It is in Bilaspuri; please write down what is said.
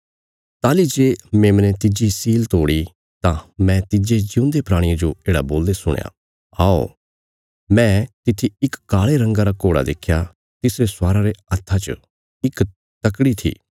ताहली जे मेमने तिज्जी सील तोड़ी तां मैं तिज्जे जिऊंदे प्राणिये जो येढ़ा बोलदे सुणया औ मैं तित्थी इक काल़े रंगा रा घोड़ा देख्या तिसरे स्वारा रे हत्था च इक तकड़ी थी